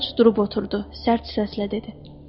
George durub oturdu, sərt səslə dedi: